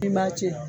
I b'a ci